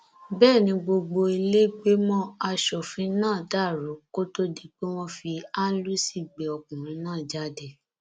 bẹẹ ni gbogbo ìlẹgbẹmọ asòfin náà dàrú kó tóó di pé wọn fi áńlúsì gbé ọkùnrin náà jáde